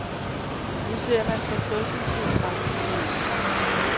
Nu ser man fortrøstningsfuldt fremtiden i møde.